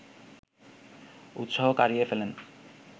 উৎসাহ কারিয়ে ফেলেন